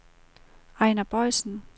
Ejner Boisen